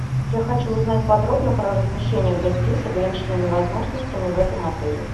я хочу узнать подробно про размещение гостей с ограниченными возможностями в этом отеле